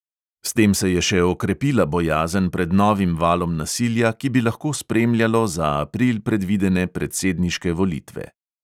S tem se je še okrepila bojazen pred novim valom nasilja, ki bi lahko spremljalo za april predvidene predsedniške volitve.